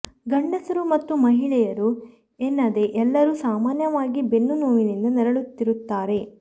ಗಂಡಸರು ಮತ್ತು ಮಹಿಳೆಯರು ಎನ್ನದೆ ಎಲ್ಲರೂ ಸಾಮಾನ್ಯವಾಗಿ ಬೆನ್ನು ನೋವಿನಿಂದ ನರಳುತ್ತಿರುತ್ತಾರೆ